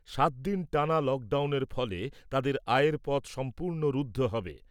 সাতদিন টানা লকডাউনের ফলে তাদের আয়ের পথ সম্পূর্ণ রুদ্ধ হবে ।